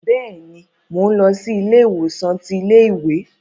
Bẹ́ẹ̀ni, Mo n lọ si ile-iwosan ti ile-iwe